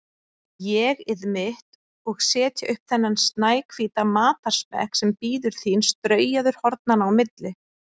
ÉG-ið mitt, og setja upp þennan snæhvíta matarsmekk sem bíður þín straujaður hornanna á milli.